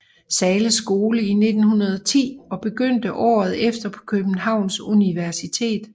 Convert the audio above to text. Zahles Skole i 1910 og begyndte året efter på Københavns Universitet